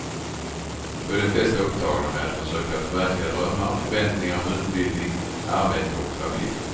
Då är de flesta upptagna med att försöka förverkliga drömmar och förväntningar om utbildning, arbete och familj.